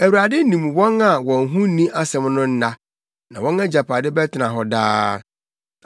Awurade nim wɔn a wɔn ho nni asɛm no nna, na wɔn agyapade bɛtena hɔ daa.